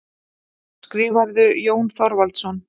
Skrifarðu, Jón Þorvaldsson?